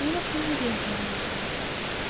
ну я прям уверена в этом